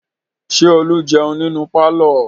Ṣé Olú jẹun nínú pálọ̀?